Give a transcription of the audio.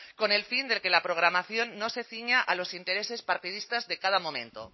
con el fin de que la programación no se ciña a los intereses partidistas de cada momento